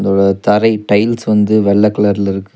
அ தரை டைல்ஸ் வந்து வெள்ள கலர்ல இருக்கு.